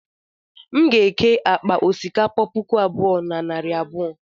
m ga-eke akpa osikapa puku abụọ na narị abụọ